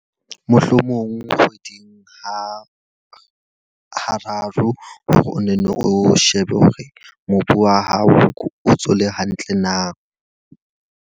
Mohlomong kgweding ha hararo for o nenne o shebe hore mobu wa hao o ntso o le hantle na.